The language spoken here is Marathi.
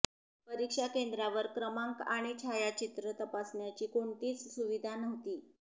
परीक्षा केंद्रावर क्रमांक आणि छायाचित्र तपासण्याची कोणतीच सुविधा नव्हती